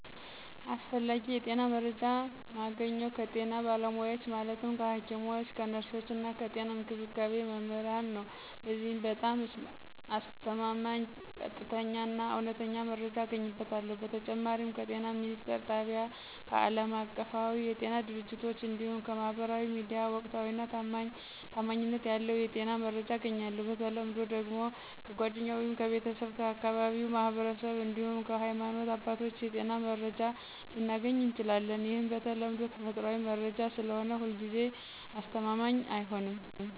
አስፈላጊ የጤና መረጃ ማገኘው ከጤና ባለሙያዎች ማለትም ከሐኪሞች፣ ከነርሶች እና ከጤና እንክብካቤ መምህራን ነዉ። በዚህም በጣም አስተማማኝ፣ ቀጥተኛ እና እውነተኛ መረጃ አገኝበታለሁ። በተጨማሪም ከጤና ሚኒስትር ጣቢያ፣ ከአለማቀፋዊ የጤና ድርጅቶች እንዲሁም ከማህበራዊ ሚዲያ ወቅታዊና ታማኝነት ያለው የጤና መረጃ አገኛለሁ። በተለምዶ ደግሞ ከጓደኛ ወይም ከቤተሰብ፣ ከአካባቢው ማህበረሰብ እንዲሁም ከሀይማኖት አባቶች የጤና መረጃ ልናገኝ እንችላለን። ይህም በተለምዶ ተፈጥሯዊ መረጃ ስለሆነ ሁልጊዜ አስተማማኝ አይሆንም።